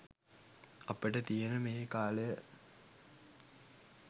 අපට තියෙන මේ කාලය